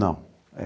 Não.